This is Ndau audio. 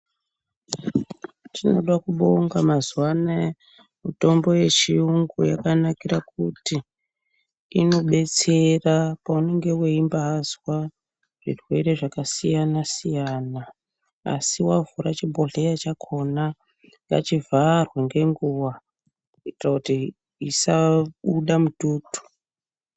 Tinoda kubonga mazuva anoya, mitombo yechiyungu yakanakira kuti inodetsera paunenge uchimbaazwa zvirwere zvakasiyana siyana. Asi wavhura chibhodhlera chakona, ngachivharwe nenguva kuitira kuti isabuda mututu.